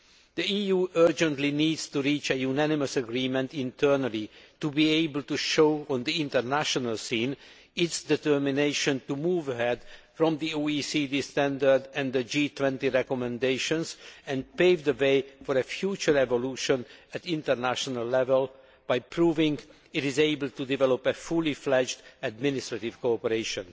The EU urgently needs to reach a unanimous agreement internally to be able to show, on the international scene, its determination to move ahead from the OECD standard and the G20 recommendations and pave the way for a future evolution at international level by proving it is able to develop fully fledged administrative cooperation.